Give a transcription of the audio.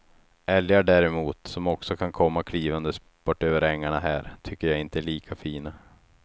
Älgar däremot som också kan komma klivandes bortöver ängarna här, tycker jag inte är lika fina.